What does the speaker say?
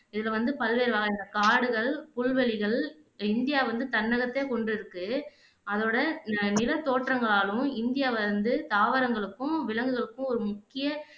இதுல வந்து பல்வேறு வகையான காடுகள், புல்வெளிகள் இந்தியா வந்து தன்னகத்தே கொண்டிருக்கு அதோட ந நில தோற்றங்களாலும் இந்தியா வந்து தாவரங்களுக்கும், விலங்குகளுக்கும் ஒரு முக்கிய